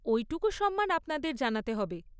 ওইটুকু সম্মান আপনাদের জানাতে হবে।